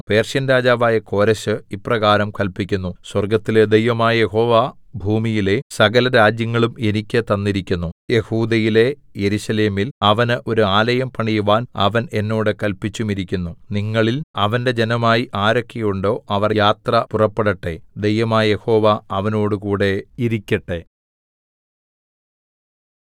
Persian രാജാവായ കോരെശ് ഇപ്രകാരം കല്പിക്കുന്നു സ്വർഗ്ഗത്തിലെ ദൈവമായ യഹോവ ഭൂമിയിലെ സകലരാജ്യങ്ങളും എനിക്ക് തന്നിരിക്കുന്നു യെഹൂദയിലെ യെരൂശലേമിൽ അവന് ഒരു ആലയം പണിവാൻ അവൻ എന്നോട് കല്പിച്ചുമിരിക്കുന്നു നിങ്ങളിൽ അവന്റെ ജനമായി ആരൊക്കെ ഉണ്ടോ അവർ യാത്ര പുറപ്പെടട്ടെ ദൈവമായ യഹോവ അവനോടുകൂടെ ഇരിക്കട്ടെ